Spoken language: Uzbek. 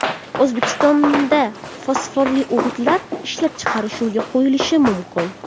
O‘zbekistonda fosforli o‘g‘itlar ishlab chiqarish yo‘lga qo‘yilishi mumkin.